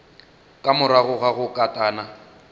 ka morago ga go katana